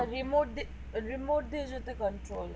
remote দি remote দিয়ে যেনও control হয়